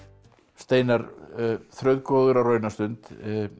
steinar Þrautgóðir á raunastund